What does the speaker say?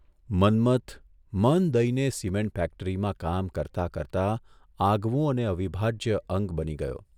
મન્મથ મન દઇને સિમેન્ટ ફેક્ટરીમાં કામ કરતા કરતા આગવું અને અવિભાજ્ય અંગ બની રહ્યો.